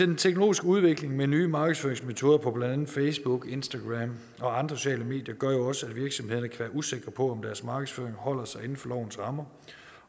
den teknologiske udvikling med nye markedsføringsmetoder på blandt andet facebook instagram og andre sociale medier gør jo også at virksomhederne kan være usikre på om deres markedsføring holder sig inden for lovens rammer